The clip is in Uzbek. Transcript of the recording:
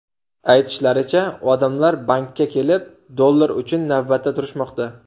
Aytishlaricha, odamlar bankka kelib dollar uchun navbatda turishmoqda.